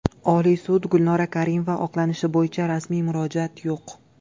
Oliy sud: Gulnora Karimova oqlanishi bo‘yicha rasmiy murojaat yo‘q .